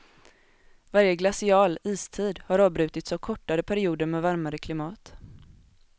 Varje glacial, istid, har avbrutits av kortare perioder med varmare klimat.